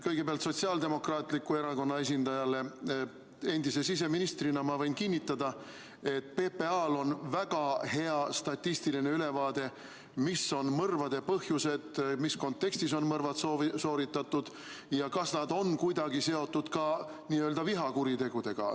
Kõigepealt Sotsiaaldemokraatliku Erakonna esindajale: endise siseministrina ma võin kinnitada, et PPA-l on väga hea statistiline ülevaade, mis on mõrvade põhjused, mis kontekstis on mõrvad sooritatud ja kas nad on kuidagi seotud ka n-ö vihakuritegudega.